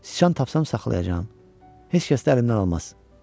Siçan tapsam saxlayacağam, heç kəs də əlimdən almaz.